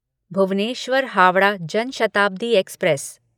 Bhubaneswar Howrah Jan Shatabdi express